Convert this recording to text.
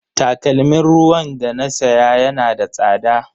Takalmin ruwan da na saya yana da tsada.